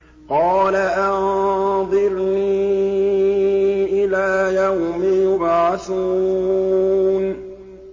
قَالَ أَنظِرْنِي إِلَىٰ يَوْمِ يُبْعَثُونَ